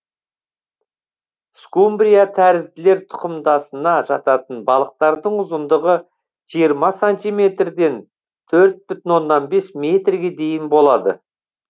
скумбрия тәрізділер тұқымдасына жататын балықтардың ұзындығы жиырма сантиметрден төрт бүтін оннан бес метрге дейін болады